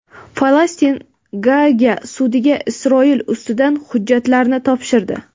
Falastin Gaaga sudiga Isroil ustidan hujjatlarni topshirdi.